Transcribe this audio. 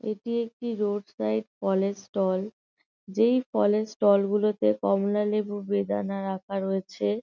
এটি একটি road side ফলের স্টল যেই ফলের স্টল -গুলোতে কমলালেবু বেদানা রাখা রয়েছে-এ--